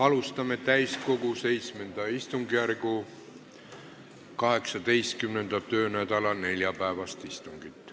Alustame täiskogu VII istungjärgu 18. töönädala neljapäevast istungit.